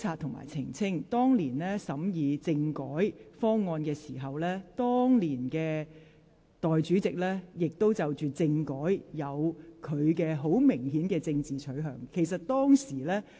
本會當年審議政改方案時，時任代理主席對政改亦有十分鮮明的政治取向。